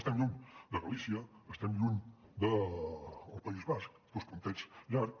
estem lluny de galícia estem lluny del país basc dos puntets llargs